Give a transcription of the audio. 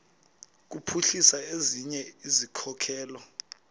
kuphuhlisa ezinye izikhokelo